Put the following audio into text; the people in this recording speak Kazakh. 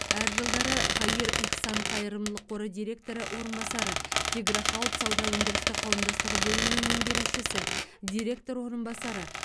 әр жылдары хаир ихсан қайырымдылық қоры директоры орынбасары тигро хауд сауда өндірістік қауымдастығы бөлімінің меңгерушісі директор орынбасары